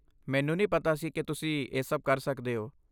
ਮੈਨੂੰ ਨਹੀਂ ਪਤਾ ਸੀ ਕਿ ਤੁਸੀਂ ਇਹ ਸਭ ਕਰ ਸਕਦੇ ਹੋ।